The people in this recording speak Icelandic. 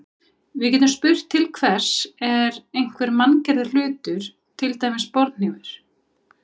Við getum spurt til hvers er einhver manngerður hlutur, til dæmis borðhnífur.